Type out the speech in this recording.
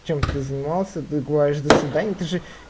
чем ты занимался ты говоришь до свидания ты же